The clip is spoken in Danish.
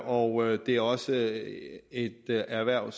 og det er også et erhverv